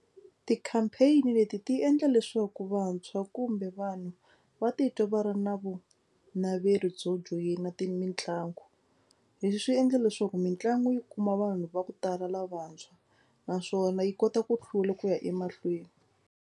Ti-campaign leti ti endla leswaku vantshwa kumbe vanhu va titwa va ri na vunaveri byo joyina ti mitlangu. Leswi swi endla leswaku mitlangu yi kuma vanhu va ku tala lavantshwa naswona yi kota ku hlula ku ya emahlweni.